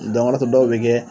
Dɔn o le y'a to dɔw bɛ kɛ